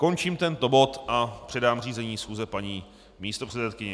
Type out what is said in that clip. Končím tento bod a předám řízení schůze paní místopředsedkyni.